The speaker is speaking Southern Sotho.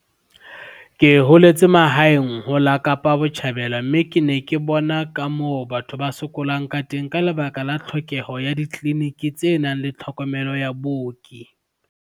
"Ke holetse mahaeng ho la Kapa Botjhabela mme ke ne ke bona ka moo batho ba sokolang ka teng ka lebaka la tlhokeho ya ditleliniki tse nang le tlhokomelo ya booki."